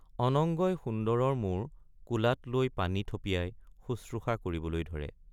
অনঙ্গই সুন্দৰৰ মূৰ কোলাত লৈ পানী থপিয়াই শুশ্ৰূষা কৰিবলৈ ধৰে।